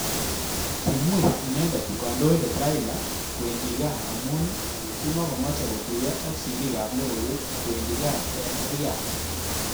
Kimwei inendet kandoinet Raila kwendinkaa amu kimakomeche kotuyo ak.sirik ab logoiywek kwendi kaa eng Riat.